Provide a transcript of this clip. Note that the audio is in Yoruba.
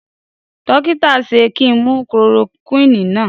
Dókítà ṣe ki mu chloroquini náà?